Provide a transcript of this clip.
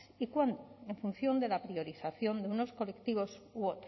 y cuándo en función de la priorización de unos colectivos u